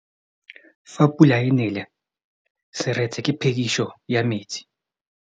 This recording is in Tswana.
Fa pula e nelê serêtsê ke phêdisô ya metsi.